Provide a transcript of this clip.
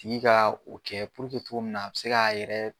tigi ka o kɛ cogo min na a bi se k'a yɛrɛ.